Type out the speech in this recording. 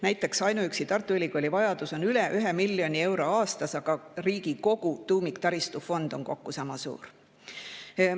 Näiteks ainuüksi Tartu Ülikooli vajadus on üle 1 miljoni euro aastas, aga riigi kogu tuumiktaristu fond on sama suur.